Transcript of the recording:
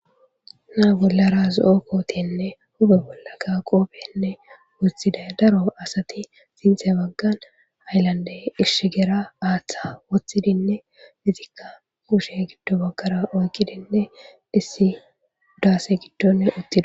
Naa bollara zo7o kootenne huphe bollaka qoobenne woththiday daro asati xinxe baggan ayllande ishigera aaththa woththidinne dizikka kushe giddo baggara oykkidinne issi daase giddon uttido.